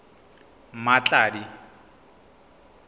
mmatladi